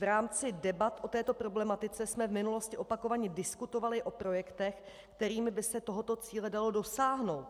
V rámci debat o této problematice jsme v minulosti opakovaně diskutovali o projektech, kterými by se tohoto cíle dalo dosáhnout.